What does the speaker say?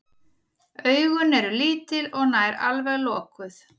Augun eru lítil og nær alveg lokuð.